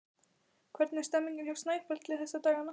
Hvernig er stemmningin hjá Snæfelli þessa dagana?